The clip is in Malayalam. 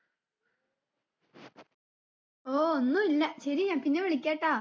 ഓ ഒന്നൂല്ലാ ശരി ഞാൻ പിന്നെ വിളിക്കെ ട്ടാ